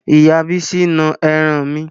Ìyá bísí na ẹran mi